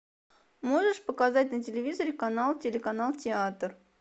можешь показать на телевизоре канал телеканал театр